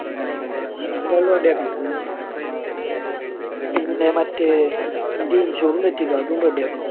അത് എന്തായാലും ready ആക്കണം. പിന്നെ മറ്റേ എന്റെ insure ഉം തെറ്റിയേക്കണ്. അതും ready ആക്കണം.